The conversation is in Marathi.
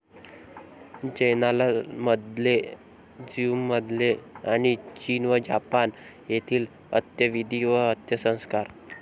जैनांमधले, ज्यूमधले आणि चीन व जपान येथील 'अंत्यविधी व अंत्यसंस्कार '